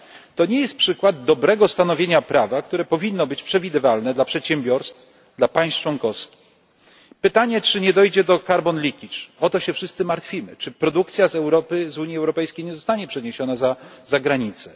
To nie jest przykład dobrego stanowienia prawa, które powinno być przewidywalne dla przedsiębiorstw, dla państw członkowskich. Pytanie, czy nie dojdzie do carbon leakage o to się wszyscy martwimy czy produkcja z Europy, z Unii Europejskiej nie zostanie przeniesiona za granicę?